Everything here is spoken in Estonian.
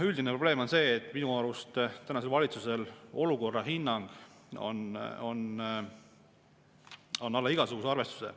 Üldine probleem on minu arust see, et tänasel valitsusel olukorra hinnang on alla igasuguse arvestuse.